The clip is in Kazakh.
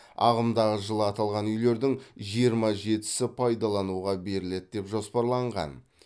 ағымдағы жылы аталған үйлердің жиырма жетісі пайдалануға беріледі деп жоспарланған